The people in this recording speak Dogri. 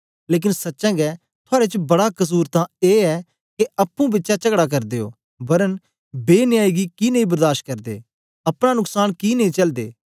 लेकन सच्चें गै थुआड़े च बड़ा कसुर तां ए ऐ के अप्पुं बिचें चगडा करदे ओ वरन बेन्यायी गी कि नेई बर्दाश करदे अपना नुक्सान कि नेई चलदे